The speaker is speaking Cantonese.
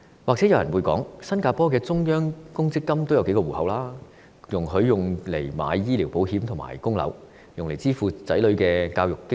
也許有人會提出，新加坡的中央公積金也分成數個戶口，容許市民用作購買醫療保險和供樓，甚至用以支付子女的教育經費。